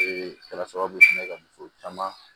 kala sababu ye ka muso caman